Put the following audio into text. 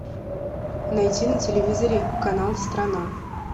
найти на телевизоре канал страна